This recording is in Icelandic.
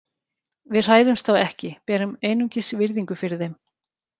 Við hræðumst þá ekki, berum einungis virðingu fyrir þeim.